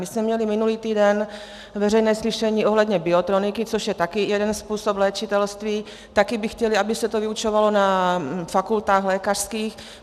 My jsme měli minulý týden veřejné slyšení ohledně biotroniky, což je také jeden způsob léčitelství, také by chtěli, aby se to vyučovalo na fakultách lékařských.